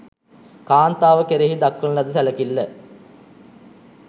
කාන්තාව කෙරෙහි දක්වන ලද සැලකිල්ල